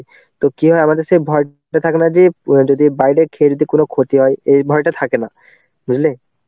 তো কি হয় আমাদের সেই ভয় টা থাকে না যে যদি বাইরে খেয়ে যদি কোনো ক্ষতি হয় এই ভয়টা থাকে না. বুঝলে